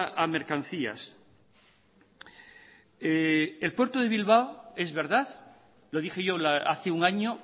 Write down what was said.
a mercancías el puerto de bilbao es verdad lo dije yo hace un año